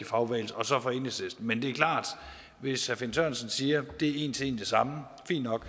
fagbevægelse og så fra enhedslisten men det er klart at hvis herre finn sørensen siger at det er en til en det samme